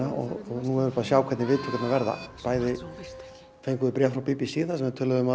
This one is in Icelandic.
og sjá hvernig viðtökurnar verða bæði fengum við bréf frá b b c þar sem þeir